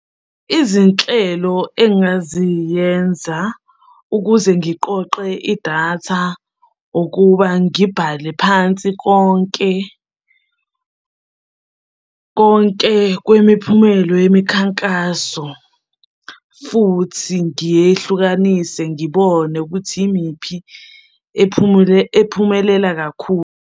Izinhlelo engaziyenza ukuze ngiqoqe idatha ukuba ngibhale phansi konke konke kwemiphumelo yemikhankaso futhi ngiyehlukanise ngibone ukuthi yimiphi ephumule ephumelela kakhulu.